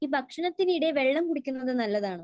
ഈ ഭക്ഷണത്തിനിടെ വെള്ളം കുടിക്കുന്നത് നല്ലതാണോ?